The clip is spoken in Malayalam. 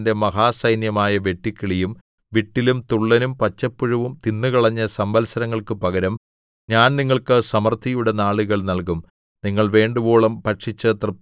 ഞാൻ നിങ്ങളുടെ ഇടയിൽ അയച്ചിരിക്കുന്ന എന്റെ മഹാസൈന്യമായ വെട്ടുക്കിളിയും വിട്ടിലും തുള്ളനും പച്ചപ്പുഴുവും തിന്നുകളഞ്ഞ സംവത്സരങ്ങൾക്കു പകരം ഞാൻ നിങ്ങൾക്ക് സമൃദ്ധിയുടെ നാളുകൾ നല്കും